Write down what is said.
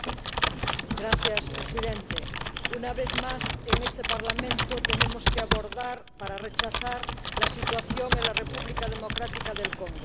Señor Presidente, una vez más en este Parlamento tenemos que abordar, para rechazar, la situación en la República Democrática del Congo.